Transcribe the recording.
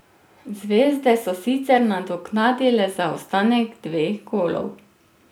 Zvezde so sicer nadoknadile zaostanek dveh golov.